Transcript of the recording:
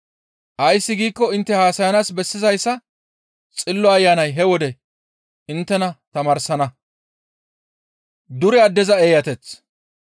Ays giikko intte haasayanaas bessizayssa Xillo Ayanay he wode inttena tamaarsana» gides.